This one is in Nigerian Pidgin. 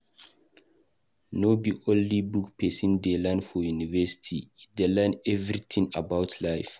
No be only book pesin dey learn for university, e dey learn everytin about life.